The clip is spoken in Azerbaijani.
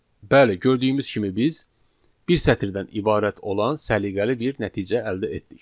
Bəli, gördüyümüz kimi biz bir sətirdən ibarət olan səliqəli bir nəticə əldə etdik.